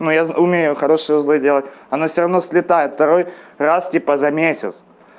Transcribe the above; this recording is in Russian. но я умею хорошего заделать оно всё равно слетает второй раз типа за месяц